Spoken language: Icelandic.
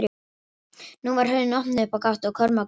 Nú var hurðin opnuð upp á gátt og Kormákur kom í ljós.